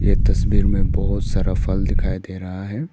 यह तस्वीर में बहुत सारा फल दिखाई दे रहा है।